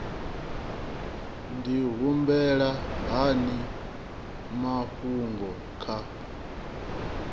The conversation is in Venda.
ndi humbela hani mafhungo kha